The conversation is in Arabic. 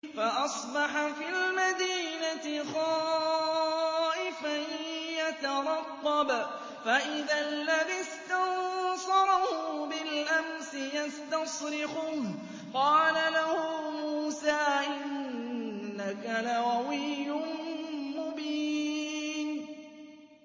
فَأَصْبَحَ فِي الْمَدِينَةِ خَائِفًا يَتَرَقَّبُ فَإِذَا الَّذِي اسْتَنصَرَهُ بِالْأَمْسِ يَسْتَصْرِخُهُ ۚ قَالَ لَهُ مُوسَىٰ إِنَّكَ لَغَوِيٌّ مُّبِينٌ